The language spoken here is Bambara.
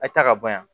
A ye taa ka bɔ yan